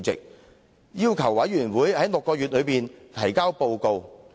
特首要求調查委員會在6個月內提交報告。